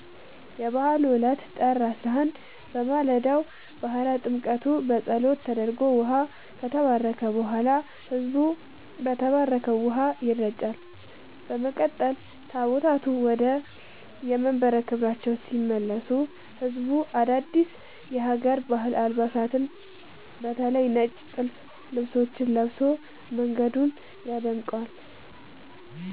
የበዓሉ ዕለት (ጥር 11)፦ በማለዳው የባሕረ ጥምቀቱ ጸሎት ተደርጎ ውኃው ከተባረከ በኋላ፣ ሕዝቡ በተባረከው ውኃ ይረጫል። በመቀጠል ታቦታቱ ወደየመንበረ ክብራቸው ሲመለሱ ሕዝቡ አዳዲስ የሀገር ባህል አልባሳትን (በተለይ ነጭ ጥልፍ ልብሶችን) ለብሶ መንገዱን ያደምቃል።